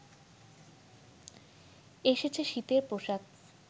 এসেছে শীতের পোশাক